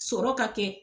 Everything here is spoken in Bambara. Sɔrɔ ka kɛ